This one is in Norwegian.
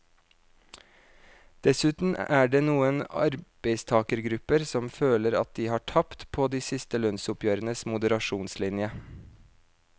Dessuten er det noen arbeidstagergrupper som føler at de har tapt på de siste lønnsoppgjørenes moderasjonslinje.